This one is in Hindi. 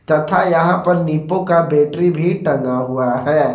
तथा यहां पर निप्पो का बैटरी भी टंगा हुआ है।